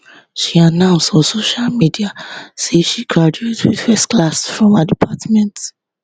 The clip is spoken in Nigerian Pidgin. she announce on social media say she graduate wit first class from her department